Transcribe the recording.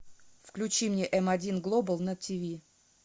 включи мне м один глобал на тв